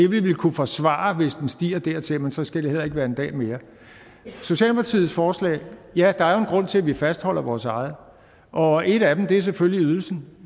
vil kunne forsvare det hvis den stiger dertil men så skal det heller ikke være en dag mere socialdemokratiets forslag ja der er jo grund til at vi fastholder vores eget og en af dem er selvfølgelig ydelsen